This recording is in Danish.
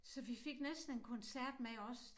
Så vi fik næsten en koncert med også